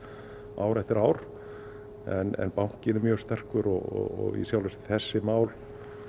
ár eftir ár en bankinn er mjög sterkur og þessi mál